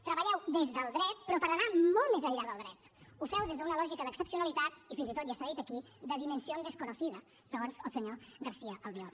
treballeu des del dret però per anar molt més enllà del dret ho feu des d’una lògica d’excepcionalitat i fins i tot ja s’ha dit aquí de dimensión desconocida segons el senyor garcía albiol